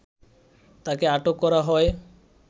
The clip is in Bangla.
তাকে আটক করা হয়